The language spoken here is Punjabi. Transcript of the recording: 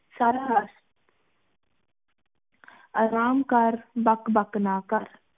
ਸਾਰਾ ਆਰਾਮ ਕਰ ਬਕ ਬਕ ਨਾ ਕਰ